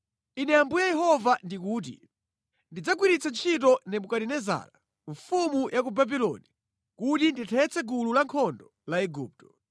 “ ‘Ine Ambuye Yehova ndikuti, “ ‘Ndidzagwiritsa ntchito Nebukadinezara, mfumu ya ku Babuloni kuti ndithetse gulu lankhondo la Igupto.